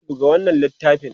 ka buga mana wannan littafin!